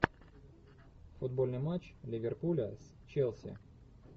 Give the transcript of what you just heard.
футбольный матч ливерпуля с челси